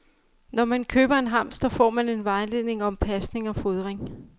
Når man køber en hamster, får man en vejledning om pasning og fodring.